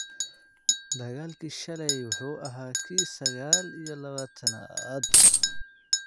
Dagaalkii shalay wuxuu ahaa kii sagaal iyo labataan-aad.